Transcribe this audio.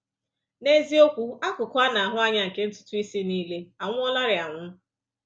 N’eziokwu, akụkụ a na-ahụ anya nke ntutu isi niile anwụọlarị anwụ.